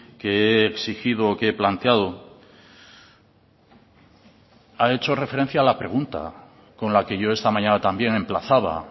que he exigido o que he planteado ha hecho referencia a la pregunta con la que yo esta mañana también emplazaba